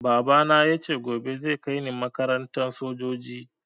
Baba na yace gobe zai kaini makarantar sojoji